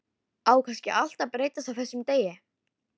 Á kannski allt að breytast á þessum degi.